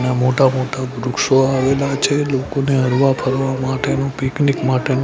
ને મોટા મોટા વૃક્ષો આવેલા છે લોકોને હરવા ફરવા માટેનું પીકનીક માટેનું--